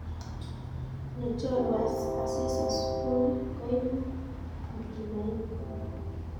nyechoru asis asubui koibuu mtumaini